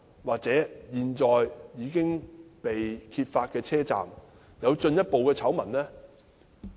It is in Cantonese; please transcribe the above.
或現在已經被揭發的車站會否有進一步的醜聞？